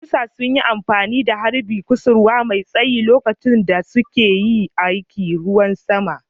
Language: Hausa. Furodusan sun yi amfani da harbin kusurwa mai tsayi lokacin da suke yin aikin ruwan sama